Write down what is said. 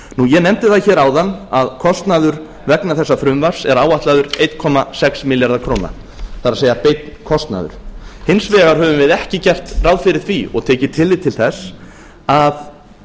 ég nefndi það hér áðan að kostnaður vegna þessa frumvarps er áætlaður eitt komma sex milljarðar króna það er beinn kostnaður hins vegar höfum við ekki gert ráð fyrir því og tekið tillit til þess að